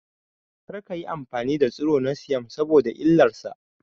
Kar kayi amfani da tsiro na siyam saboda illar sa